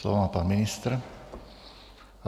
Slovo má pan ministr...